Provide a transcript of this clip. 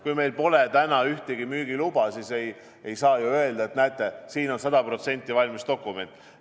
Kui meil pole täna ühtegi müügiluba, siis ei saa ju öelda, et näete, siin on sada protsenti valmis dokument.